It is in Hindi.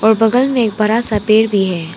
और बगल में एक बड़ा सा पेड़ भी है।